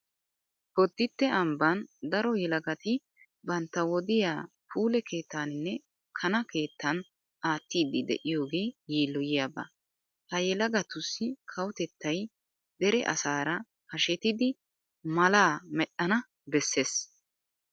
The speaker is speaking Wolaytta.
Bodditte ambban daro yelagati bantta wodiya puule keettaaninne kana keettan aattiiddi de'iyogee yiilloyiyaba. Ha yelagatussi kawotettay dere asaara hashetidi malaa medhdhana bessees.